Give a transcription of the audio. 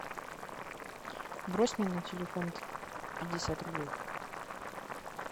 брось мне на телефон пятьдесят рублей